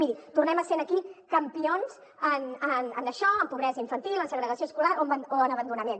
miri tornem a ser aquí campions en això en pobresa infantil en segregació escolar o en abandonament